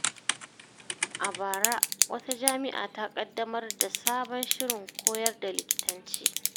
A bara, wata jami’a ta ƙaddamar da sabon shirin koyar da likitanci.